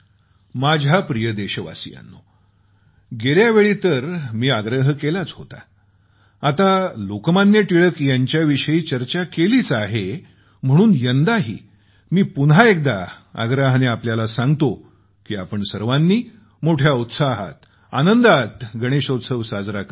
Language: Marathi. माझ्या प्रिय देशवासियांनो गेल्या वेळेस तर मी आग्रह केला होताच आता लोकमान्य टिळक यांचं आपण स्मरण करत आहोत त्या अनुषंगाने मी पुन्हा एकदा आग्रहाने आपल्याला सांगतो की आपण सर्वांनी मोठ्या उत्साहात आनंदात गणेश उत्सव साजरा करावा